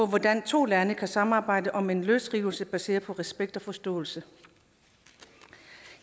hvordan to lande kan samarbejde om en løsrivelse baseret på respekt og forståelse